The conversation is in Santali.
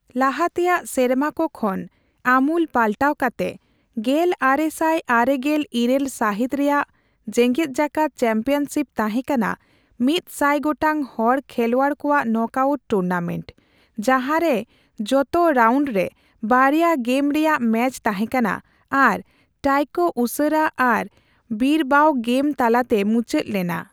ᱞᱟᱦᱟᱛᱮᱭᱟᱜ ᱥᱮᱨᱢᱟᱠᱚ ᱠᱷᱚᱱ ᱟᱢᱩᱞ ᱯᱟᱞᱴᱟᱣ ᱠᱟᱛᱮ, ᱜᱮᱞ ᱟᱨᱮᱥᱟᱭ ᱟᱨᱮ ᱜᱮᱞ ᱤᱨᱟᱹᱞ ᱥᱟᱹᱦᱤᱛ ᱨᱮᱭᱟᱜ ᱡᱮᱜᱮᱫ ᱡᱟᱠᱟᱫ ᱪᱮᱢᱯᱤᱭᱚᱱᱥᱤᱯ ᱛᱟᱦᱮᱸᱠᱟᱱᱟ ᱢᱤᱛ ᱥᱟᱭ ᱜᱚᱴᱟᱝ ᱦᱚᱲ ᱠᱷᱮᱞᱣᱟᱲ ᱠᱚᱣᱟᱜ ᱱᱚᱠᱟᱣᱴ ᱴᱩᱨᱱᱟᱢᱮᱱᱴ, ᱡᱟᱦᱟᱸᱨᱮ ᱡᱚᱛᱚ ᱨᱟᱣᱱᱰ ᱨᱮ ᱵᱟᱨᱭᱟ ᱜᱮᱢ ᱨᱮᱭᱟᱜ ᱢᱮᱪ ᱛᱟᱦᱮᱸᱠᱟᱱᱟ ᱟᱨ ᱴᱟᱭᱠᱚ ᱩᱥᱟᱹᱨᱟ ᱟᱨ ᱵᱤᱨᱵᱟᱶ ᱜᱮᱢ ᱛᱟᱞᱟᱛᱮ ᱢᱩᱪᱟᱹᱫ ᱞᱮᱱᱟ ᱾